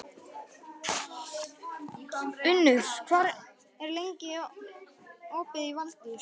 Unnur, hvað er lengi opið í Valdís?